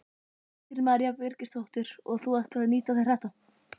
Kristín María Birgisdóttir: Og þú ætlar að nýta þér þetta?